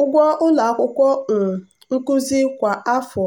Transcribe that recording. ụgwọ akwụkwọ um nkuzi kwa afọ